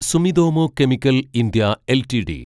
Sumitomo chemical India LTD